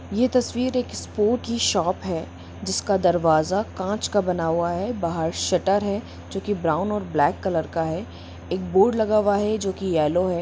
ये तस्वीर एक स्पोर्ट की शॉप है जिसके दरवाजे कांच का बना हुआ है बाहर शटर है जो कि ब्राउन और ब्लैक कलर का है एक बोर्ड लगा हुआ है जो की येलो है।